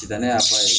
Danaya fan ye